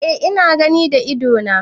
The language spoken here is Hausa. Eh ina gani da ido na.